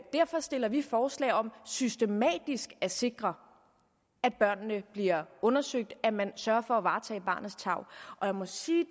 derfor stiller vi forslag om systematisk at sikre at børnene bliver undersøgt at man sørger for at varetage barnets tarv og jeg må sige